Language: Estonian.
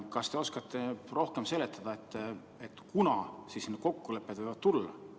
Kas te oskate rohkem seletada, kunas need kokkulepped võivad tulla?